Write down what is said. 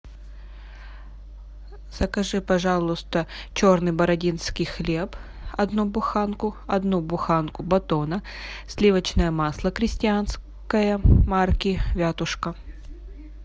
закажи пожалуйста черный бородинский хлеб одну буханку одну буханку батона сливочное масло крестьянское марки вятушка